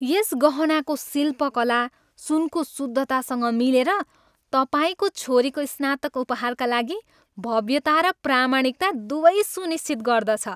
यस गहनाको शिल्पकला, सुनको शुद्धतासँग मिलेर, तपाईँको छोरीको स्नातक उपहारका लागि भव्यता र प्रामाणिकता दुवै सुनिश्चित गर्दछ।